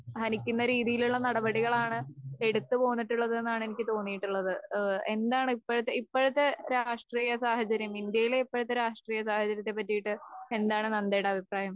ഹനിക്കുന്ന രീതിയിലുള്ള നടപടികളാണ് എടുത്തുപോന്നിട്ടുള്ളത് എന്നാണ് എനിക്ക് തോന്നീട്ടുള്ളത്. ഏഹ് എന്താണിപ്പഴത്തെ ഇപ്പഴത്തെ രാഷ്ട്രീയസാഹചര്യം. ഇന്ത്യയിലെ ഇപ്പഴത്തെ രാഷ്ട്രീയസാഹചര്യത്തെ പറ്റിയിട്ട് എന്താണ് നന്തയുടെ അഭിപ്രായം?